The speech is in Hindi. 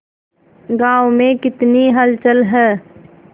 गांव में कितनी हलचल है